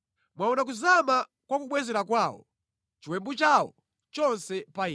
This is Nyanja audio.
Mwaona kuzama kwa kubwezera kwawo, chiwembu chawo chonse pa ine.